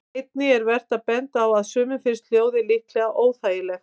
Einnig er vert að benda á að sumum finnst hljóðið líklega óþægilegt.